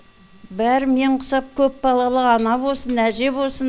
бәрі мен құсап көпбалалы ана босын әже босын